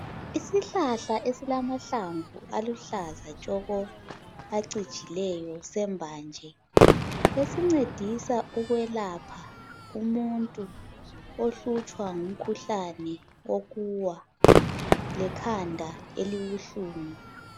Isihlahla esilama hlamvu aluhlaza tshoko acijileyo sembanje ngesincedisa ukwelapha umuntu ohlutshwa ngumkhuhlane wokuwa lekhanda elibuhlungu